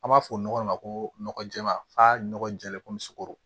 An b'a fɔ nɔgɔ de ma ko nɔgɔ jɛman f'a nɔgɔ jɛlen komi sogo